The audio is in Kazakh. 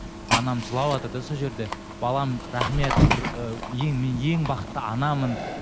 анам жылаватыр да сол жерде балам рахмет бір ы ең мен ең бақытты анамын